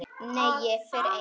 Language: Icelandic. Nei, ég fer einn!